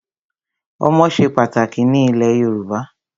Ọmọ ṣe pàtàkì ní ilẹ̀ Yorùbá.